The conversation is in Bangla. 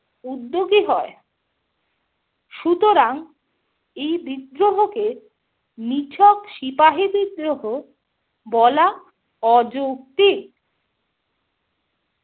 উদ্যোগী হয়। সুতরাং, এই বিদ্রোহকে নিছক সিপাহী বিদ্রোহ বলা অযৌক্তিক।